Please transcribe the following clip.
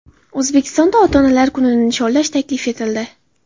O‘zbekistonda ota-onalar kunini nishonlash taklif etildi .